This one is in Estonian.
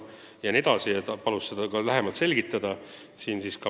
Ta palus seda lähemalt selgitada.